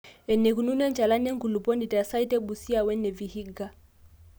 eneikununo enchalan enkuluponi te site e Busia we ne Vihiga